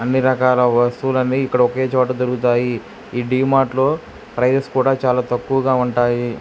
అన్ని రకాల వస్తువులన్నీ ఇక్కడ ఒకే చోట దొరుకుతాయి. ఈ డి మార్ట్లో ప్రైస్ కూడా చాలా తక్కువగా ఉంటాయి.